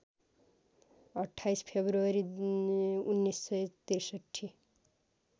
२८ February १९६३